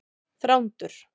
Þrándur